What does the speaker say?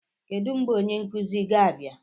Kedu mgbe onye nkuzi ga-abịa?